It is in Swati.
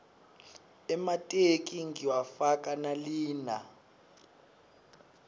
emateki ngiwafaka nalina